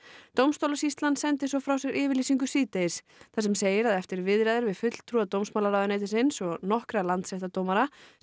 dómstólasýslan sendi svo frá sér yfirlýsingu síðdegis þar sem segir að eftir viðræður við fulltrúa dómsmálaráðuneytisins og nokkra landsréttardómara sé